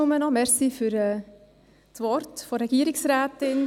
Nur kurz: Danke für die Worte der Regierungsrätin.